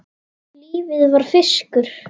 Lífið var fiskur.